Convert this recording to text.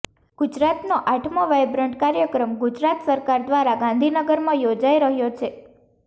ગુજરાતનો આઠમો વાઈબ્રન્ટ કાર્યક્રમ ગુજરાત સરકાર દ્વારા ગાંધીનગરમાં યોજાઈ રહ્યો છે